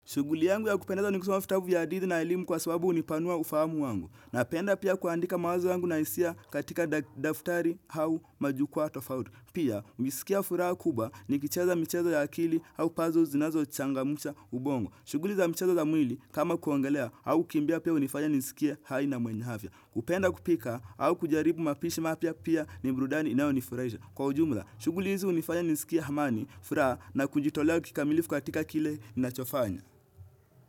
Shughuli yangu ya kupendeza ni kusoma vitabu ya hadithi na elimu kwa sababuu hunipanua ufahamu wangu. Napenda pia kuandika mawazo yangu na hisia katika daf daftari hau majukwaa tofauti. Pia, hujisikia furaha kubwa nikicheza mchezo ya akili hau puzzle zinazo changamsha ubongo. Shughuli za mchezo za mwili, kama kuogelea, hau kimbia pia hunifanya nisikia hai na mwenye havya. Kupenda kupika au kujaribu mapishi mapya pia ni burudani inayo nifurahisha. Kwa ujumla, shughuli hizi hunifanya nisikia hamani, furaha na kujitolea kikamilifu katika kile ninachofanya.